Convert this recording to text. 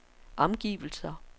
omgivelser